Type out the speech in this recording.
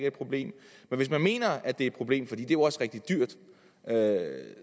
et problem men hvis man mener at det er et problem for det er jo også rigtig dyrt